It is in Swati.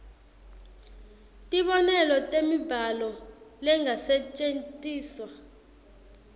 tibonelo temibhalo lengasetjentiswa